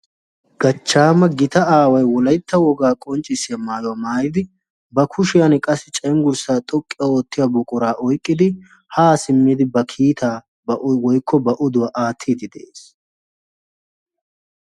Gachchaama gita aawayi wolaytta wogaa qonccissiya maayuwa maayidi ba kushiyan qassi cenggurssaa xoqqu oottiya buqurata oyiqqidi haa simmidi ba kiitaa woykko ba oduwa aattiidfi de"es.